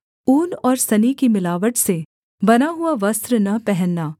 ऊन और सनी की मिलावट से बना हुआ वस्त्र न पहनना